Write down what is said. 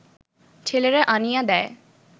ছেলেরা আনিয়া দেয়